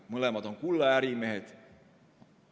Mõlemad on kullaärimehed.